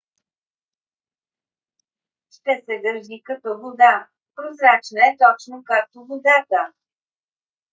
ще се държи като вода. прозрачна е точно както водата